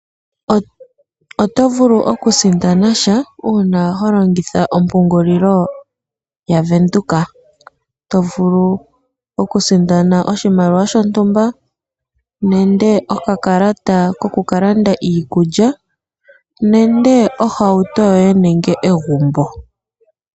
Oto vulu oku sindana sha, uuna ho longitha ompungulilo ya Venduka. To vulu oku sindana oshimaliwa shontumba, nande oka kalata ko ku ka landa iikulya, nande ohauto yoye nenge egumbo.